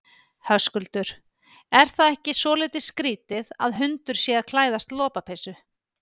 Höskuldur: Er það ekki svolítið skrítið að hundur sé að klæðast lopapeysu?